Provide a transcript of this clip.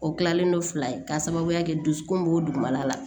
O kilalen don fila ye k'a sababuya kɛ dusukun b'o dugumana la